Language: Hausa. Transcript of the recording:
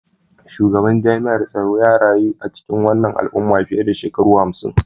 Shugaban jami'ar tsaro ya rayu a cikin wannan al'umma fiye da shekaru hamsin